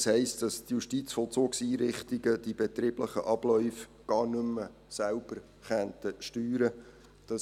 Das heisst, dass die Justizvollzugseinrichtungen die betrieblichen Abläufe gar nicht mehr selbst steuern könnten.